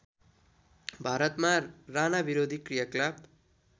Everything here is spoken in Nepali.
भारतमा राणाविरोधी क्रियाकलाप